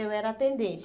Eu era atendente.